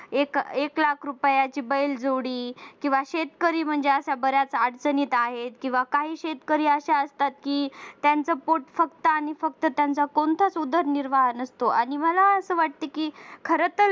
एक लाख रुपयांची बैलजोडी किंवा शेतकरी म्हणजे अशा बऱ्याच अडचणीत आहेत किंवा काही शेतकरी अशा असतात की त्यांचे पोट फक्त आणि फक्त त्यांचा कोणताच उदरनिर्वाह नसतो आणि तुम्हाला असं वाटतं की खरं तर